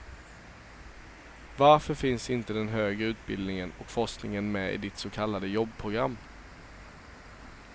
Varför finns inte den högre utbildningen och forskningen med i ditt så kallade jobbprogram?